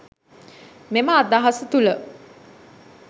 මෙම අදහස තුළ